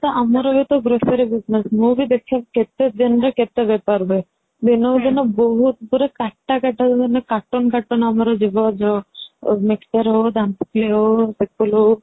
ସେଇଟା ତ ଆମର ଗୋଟେ ମୁଁ ବି ଦେଖେ କେତେଦିନ ରେ କେତେ ବେପାର ହୁଏ ଦିନକୁ ଦିନ ବହୁତ ପୁରା କାଟା କାଟା ମାନେ କାଟୁନ କାଟୁନ ଆମର ଯିବ ଯୋଉ mixture ହଉ ଦାନ୍ତକିଲି ହଉ ହଉ